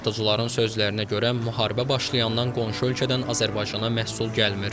Satıcıların sözlərinə görə, müharibə başlayandan qonşu ölkədən Azərbaycana məhsul gəlmir.